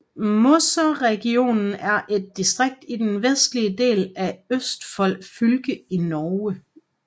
Mosseregionen er et distrikt i den vestlige del af Østfold fylke i Norge